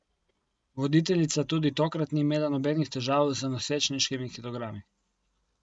Voditeljica tudi tokrat ni imela nobenih težav z nosečniškimi kilogrami.